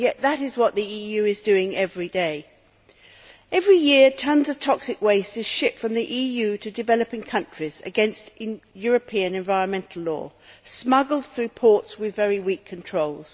Yet that is what the EU is doing every day. Every year tonnes of toxic waste is shipped from the EU to developing countries against European environmental law, smuggled through ports with very weak controls.